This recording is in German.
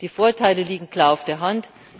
Die Vorteile liegen klar auf der Hand.